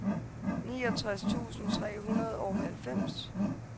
niogtres tusind tre hundrede og halvfems